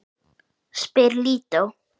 spyr Lídó.